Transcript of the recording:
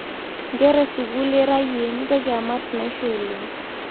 Nkera esukul ira yie mintoki amat naishoo oleng